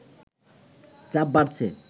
চাপ বাড়ছে